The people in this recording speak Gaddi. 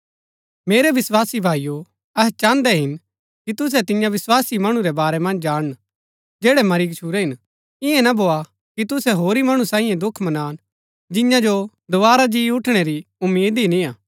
मेरै विस्वासी भाईओ अहै चाहन्दै हिन कि तुसै तियां विस्वासी मणु रै बारै मन्ज जाणन जैड़ै मरी गच्छुरै हिन इआं ना भोआ कि तुसै होरी मणु सांई दुख मनान जिआं जो दोवारा जी उठणै री उम्मीद ही निआं